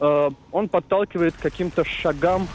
ээ он подталкивает к каким-то шагам